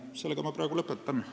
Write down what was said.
Sellega ma praegu lõpetan.